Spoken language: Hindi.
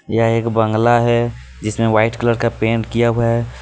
यह एक बंगला है जिसमें व्हाइट कलर का पेंट किया हुआ है.